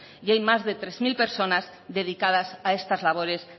y hay más de tres mil personas dedicadas a estas labores